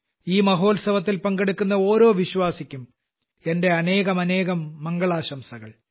ഈ മഹോത്സവത്തിൽ പങ്കെടുക്കുന്ന ഓരോ വിശ്വാസിക്കും എന്റെ അനേകമനേകം മംഗളാശംസകൾ